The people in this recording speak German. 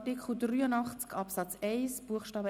Abstimmung (Art. 83 Abs. 1 Bst.